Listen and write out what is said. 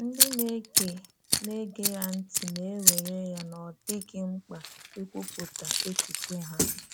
Ndị na-ege na-ege ya ntị na-ewère ya na ọ́ dịghị mkpa íkwupụta echiche ha.